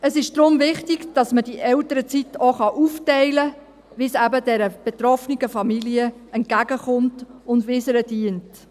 Es ist daher wichtig, dass man diese Elternzeit auch so aufteilen kann, wie es der betroffenen Familie entgegenkommt und wie es ihr dient.